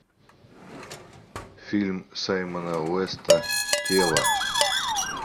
фильм саймона уэста тело